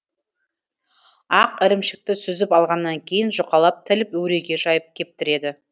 ақ ірімшікті сүзіп алғаннан кейін жұқалап тіліп өреге жайып кептіреді